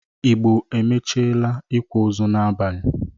Igbo amachiela ikwa ozu n’abalị